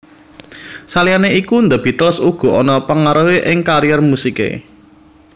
Saliyane iku The Beatles uga ana pangaruhe ing karier musike